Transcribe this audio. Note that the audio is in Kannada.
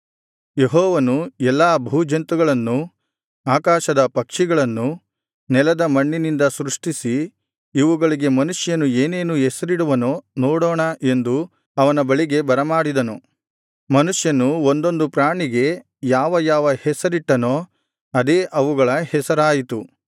ಯೆಹೋವನು ಎಲ್ಲಾ ಭೂಜಂತುಗಳನ್ನೂ ಆಕಾಶದ ಪಕ್ಷಿಗಳನ್ನೂ ನೆಲದ ಮಣ್ಣಿನಿಂದ ಸೃಷ್ಟಿಸಿ ಇವುಗಳಿಗೆ ಮನುಷ್ಯನು ಏನೇನು ಹೆಸರಿಡುವನೋ ನೋಡೋಣ ಎಂದು ಅವನ ಬಳಿಗೆ ಬರಮಾಡಿದನು ಮನುಷ್ಯನು ಒಂದೊಂದು ಪ್ರಾಣಿಗೆ ಯಾವ ಯಾವ ಹೆಸರಿಟ್ಟನೋ ಅದೇ ಅವುಗಳ ಹೆಸರಾಯಿತು